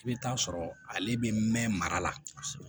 I bɛ taa sɔrɔ ale bɛ mɛn mara la